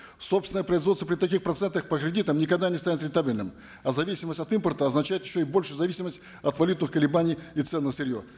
собственное производство при таких процентах по кредитам никогда не станет рентабельным а зависимость от импорта означает еще и большую зависимость от валютных колебаний и цен на сырье